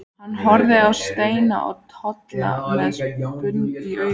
Hann horfir á Steina og Tolla með spurn í augum.